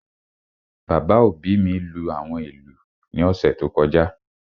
Bàbá òbí mi lú àwọn ìlú ní ọ̀sẹ̀ tó kọjá